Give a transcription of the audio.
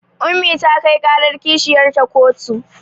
Ummi ta kai ƙarar kishiyarta kotu